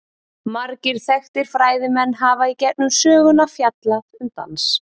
Margir þekktir fræðimenn hafa í gegnum söguna fjallað um dans.